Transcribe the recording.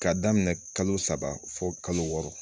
K'a daminɛ kalo saba fo kalo wɔɔrɔ